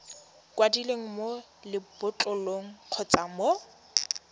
kwadilweng mo lebotlolong kgotsa mo